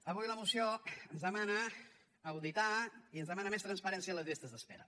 avui la moció ens demana auditar i ens demana més transparència a les llistes d’espera